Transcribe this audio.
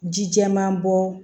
Ji jɛman bɔ